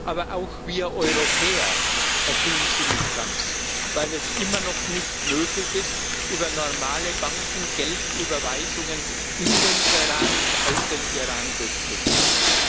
Aber auch wir Europäer erfüllen sie nicht ganz, weil es immer noch nicht möglich ist, über normale Banken Geldüberweisungen in den Iran und aus dem Iran durchzuführen.